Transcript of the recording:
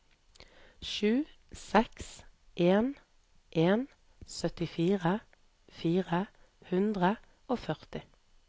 sju seks en en syttifire fire hundre og førti